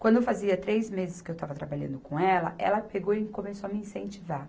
Quando fazia três meses que eu estava trabalhando com ela, ela pegou e começou a me incentivar.